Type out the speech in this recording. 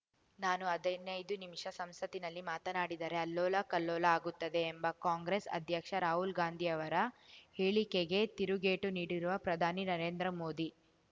ನಾನು ಹದಿನೈದು ನಿಮಿಷ ಸಂಸತ್ತಿನಲ್ಲಿ ಮಾತನಾಡಿದರೆ ಅಲ್ಲೋಲ ಕಲ್ಲೋಲ ಆಗುತ್ತದೆ ಎಂಬ ಕಾಂಗ್ರೆಸ್‌ ಅಧ್ಯಕ್ಷ ರಾಹುಲ್‌ ಗಾಂಧಿಯವರ ಹೇಳಿಕೆಗೆ ತಿರುಗೇಟು ನೀಡಿರುವ ಪ್ರಧಾನಿ ನರೇಂದ್ರ ಮೋದಿ